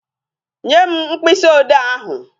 Nye m mkpịsị odee ahụ.